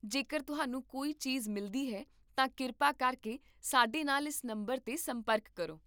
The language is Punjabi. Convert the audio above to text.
ਜੇਕਰ ਤੁਹਾਨੂੰ ਕੋਈ ਚੀਜ਼ ਮਿਲਦੀ ਹੈ ਤਾਂ ਕਿਰਪਾ ਕਰਕੇ ਸਾਡੇ ਨਾਲ ਇਸ ਨੰਬਰ 'ਤੇ ਸੰਪਰਕ ਕਰੋ